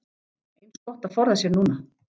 Eins gott að forða sér núna!